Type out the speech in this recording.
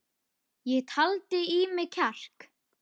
Ég taldi í mig kjark.